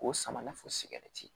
K'o sama fɔ sigɛriti